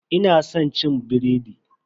Ina san cin biredi.